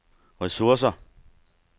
ressourcer